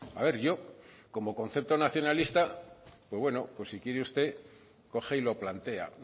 a ver yo como concepto nacionalista pues bueno pues si quiere usted coge y lo plantea